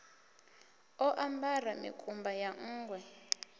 o ambara mikumba ya nṋgwe